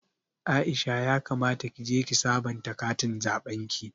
Aisha ya kamata kije ki sabanta katin zaɓen ki